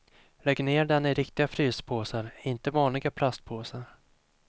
Lägg ner den i riktiga fryspåsar, inte vanliga plastpåsar.